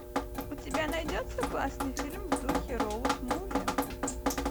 у тебя найдется классный фильм в духе роад муви